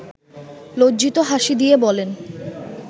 লজ্জিত হাসি দিয়ে বলেন